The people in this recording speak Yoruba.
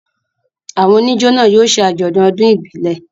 Àwọn oníjó náà yóò ṣe àjọ̀dún ọdún ìbílẹ̀.